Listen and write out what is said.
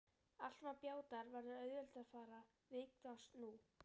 Allt sem á bjátar verður auðveldara viðfangs nú.